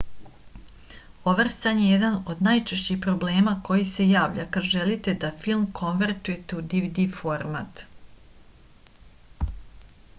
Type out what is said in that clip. overscan je jedan od najčešćih problema koji se javlja kada želite da film konvertujete u dvd format